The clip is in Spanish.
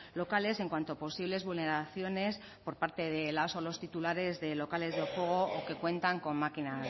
locales en cuanto a posibles vulneraciones por parte de las o los titulares de locales de juego o que cuentan con máquinas